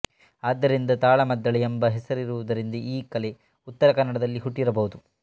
ಆದ್ದರಿಂದ ತಾಳಮದ್ದಳೆ ಎಂಬ ಹೆಸರಿರುವುದರಿಂದ ಈ ಕಲೆ ಉತ್ತರಕನ್ನಡದಲ್ಲಿ ಹುಟ್ಟಿರಬಹುದು